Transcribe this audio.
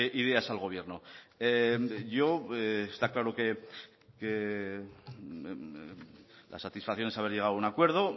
ideas al gobierno yo está claro que la satisfacción es haber llegado a un acuerdo